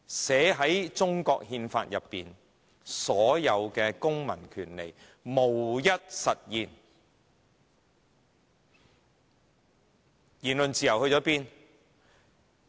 寫在中國憲法中的所有公民權利，無一實現，言論自由在哪兒？